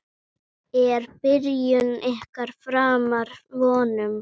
Er byrjun ykkar framar vonum?